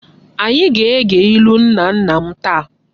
Anyị aga-ege ilu nna nna m taa!?